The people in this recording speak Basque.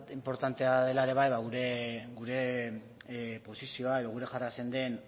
inportantea dela ere bai gure posizio edo gure jarrera zein den